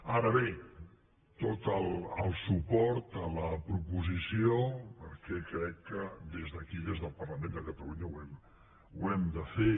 ara bé tot el suport a la proposició perquè crec que des d’aquí des del parlament de catalunya ho hem de fer